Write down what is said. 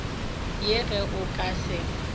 ye ge o ka se